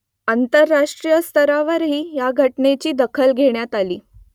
आंतरराष्ट्रीय स्तरावरही या घटनेची दखल घेण्यात आली